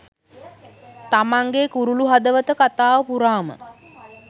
තමන්ගෙ කුරුලු හදවත කතාව පුරාම